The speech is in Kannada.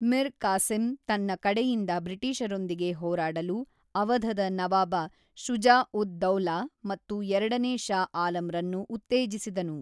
ಮಿರ್ ಕಾಸಿಮ್ ತನ್ನ ಕಡೆಯಿಂದ ಬ್ರಿಟಿಷರೊಂದಿಗೆ ಹೊರಾಡಲು ಅವಧದ ನವಾಬ ಶುಜಾ-ಉದ್-ದೌಲಾ ಮತ್ತು ಎರಡನೇ ಶಾ ಆಲಂರನ್ನು ಉತ್ತೇಜಿಸಿದನು.